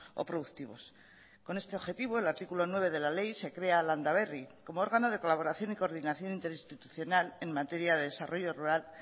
o productivos con este objetivo el artículo nueve de la ley se crea landaberri como órgano de colaboración y coordinación interinstitucional en materia de desarrollo rural